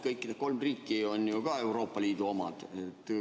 Kõik need kolm riiki on ju ka Euroopa Liidus.